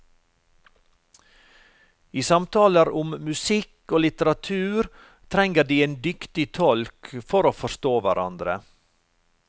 I samtaler om musikk og litteratur trenger de en dyktig tolk for å forstå hverandre.